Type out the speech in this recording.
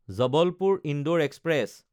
Jabalpur-Indore express